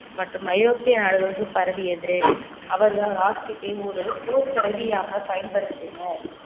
மற்றும் ஐரோப்பிய நாடுகளுக்கு பரவியது அவர்தான் rocket ஐ ஒரு போர் கருவியாக பயன்படுத்தினர்